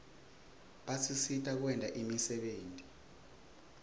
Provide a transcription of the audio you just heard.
basisita kwenta imisebenti